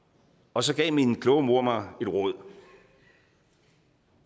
og så gav min kloge mor mig et råd